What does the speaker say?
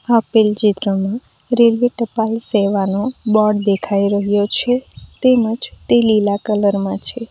આપેલ ચિત્રમાં રેલવે ટપાલ સેવાનો બોર્ડ દેખાઈ રહ્યો છે તેમજ તે લીલા કલર માં છે.